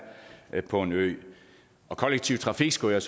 på en ø kollektiv trafik skal jeg